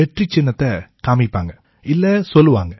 Vன்னு காமிப்பாங்க இல்லை சொல்லுவாங்க